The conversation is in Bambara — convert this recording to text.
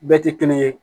Bɛɛ tɛ kelen ye